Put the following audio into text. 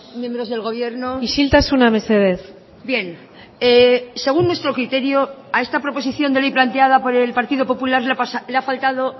miembros del gobierno isiltasuna mesedez bien según nuestro criterio a esta proposición de ley planteada por el partido popular le ha faltado